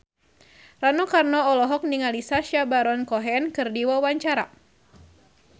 Rano Karno olohok ningali Sacha Baron Cohen keur diwawancara